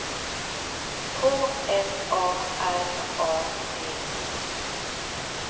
K L A R A D E